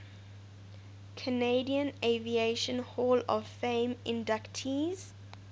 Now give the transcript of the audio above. canadian aviation hall of fame inductees